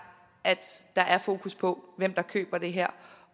at der er fokus på hvem der køber det her